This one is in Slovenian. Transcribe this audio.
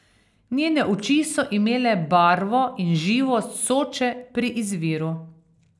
Njene oči so imele barvo in živost Soče pri izviru.